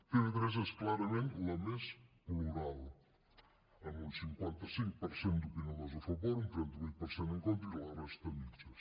tv3 és clarament la més plural amb un cinquanta cinc per cent d’opinadors a favor un trenta vuit per cent en contra i la resta a mitges